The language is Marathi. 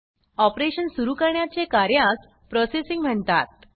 ऑपरेशन सुरू करण्याचे कार्यास प्रोसेसिंग म्हणतात